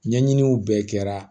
Ɲɛɲiniw bɛɛ kɛra